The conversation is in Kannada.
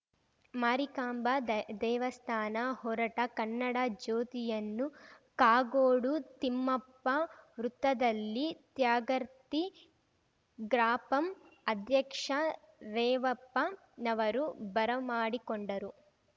ಮಾರಿಕಾಂಬಾ ದೇವ್ ದೇವಸ್ಥಾನ ಹೊರಟ ಕನ್ನಡ ಜ್ಯೋತಿಯನ್ನು ಕಾಗೋಡು ತಿಮ್ಮಪ್ಪ ವೃತ್ತದಲ್ಲಿ ತ್ಯಾಗರ್ತಿ ಗ್ರಾಪಂ ಅಧ್ಯಕ್ಷ ರೇವಪ್ಪನವರು ಬರಮಾಡಿಕೊಂಡರು